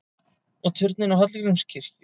Og turninn á Hallgrímskirkju!